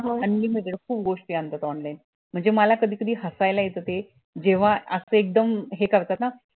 आणि खूप गोष्टी आणतात online म्हणजे मला कधी कधी हसायला येत ते जेव्हा असं एकदम हे करतात हा